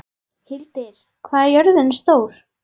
Hildir, hvað er jörðin stór?